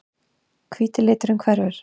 Hvíti liturinn hverfur.